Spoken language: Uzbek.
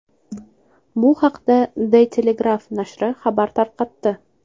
Bu haqda De Telegraaf nashri xabar tarqatdi.